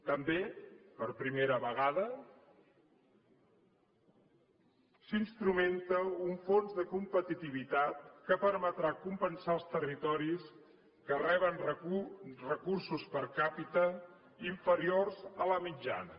també per primera vegada s’instrumenta un fons de competitivitat que permetrà compensar els territoris que reben recursos per capita inferiors a la mitjana